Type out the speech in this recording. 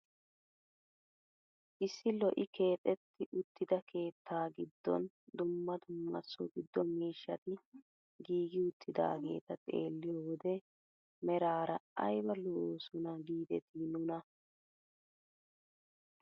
Issi lo"i keexetti uttida keettaa giddon dumma dumma so giddo miishshati giigi uttidaageta xeelliyoo wode meraara ayba lo"oosona gidetii nuna!